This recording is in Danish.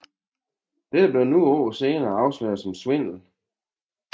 Dette blev nogle år senere afsløret som svindel